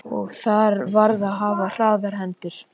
Og þar varð að hafa hraðar hendur.